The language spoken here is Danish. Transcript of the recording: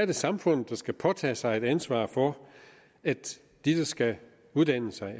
det samfundet som skal påtage sig et ansvar for at de der skal uddanne sig